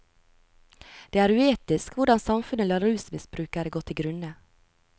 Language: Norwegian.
Det er uetisk hvordan samfunnet lar rusmisbrukere gå til grunne.